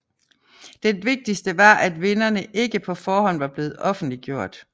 Den vigtigse var at vinderne ikke på forhånd var blevet offentliggjort